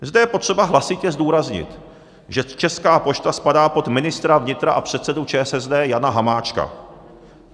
Zde je potřeba hlasitě zdůraznit, že Česká pošta spadá pod ministra vnitra a předsedu ČSSD Jana Hamáčka.